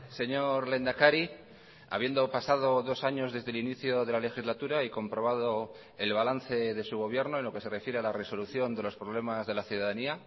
señor lehendakari habiendo pasado dos años desde el inicio de la legislatura y comprobado el balance de su gobierno en lo que se refiere a la resolución de los problemas de la ciudadanía